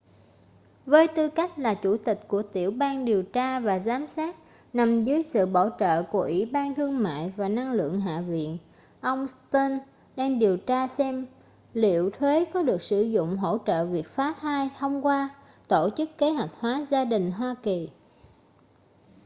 với tư cách là chủ tịch của tiểu ban điều tra và giám sát nằm dưới sự bảo trợ của ủy ban thương mại và năng lượng hạ viện ông stearns đang điều tra xem liệu thuế có được sử dụng hỗ trợ việc phá thai thông qua tổ chức kế hoạch hóa gia đình hoa kỳ